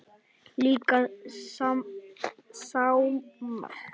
Líka smáa letrið.